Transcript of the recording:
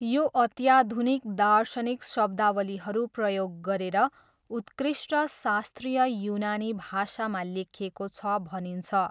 यो अत्याधुनिक दार्शनिक शब्दावलीहरू प्रयोग गरेर उत्कृष्ट शास्त्रीय युनानी भाषामा लेखिएको छ भनिन्छ।